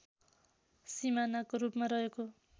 सीमानाको रूपमा रहेको